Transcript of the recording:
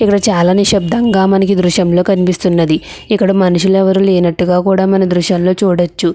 ఇక్కడ చాలా నిశ్శబ్దంగా మనకి ఈ దృశ్యంలో కనిపిస్తున్నది ఇక్కడ మనుషులు ఎవరూ లేనట్టుగా కూడా మనం ఈ దృశ్యంలో చూడవచ్చు.